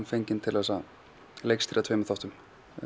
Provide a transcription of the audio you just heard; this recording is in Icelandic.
fenginn til að leikstýra tveimur þáttum